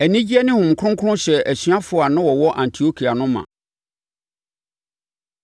Anigyeɛ ne Honhom Kronkron hyɛɛ asuafoɔ a na wɔwɔ Antiokia no ma.